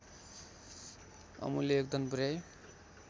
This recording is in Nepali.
अमूल्य योगदान पुर्‍याई